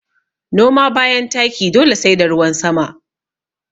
Noma bayan taki dole sai da ruwan sama